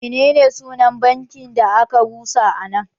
Menene sunan banki da a ka rusa a nan?